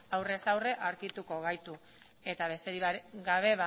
aurrez aurre aurkituko gaitu eta besterik gabe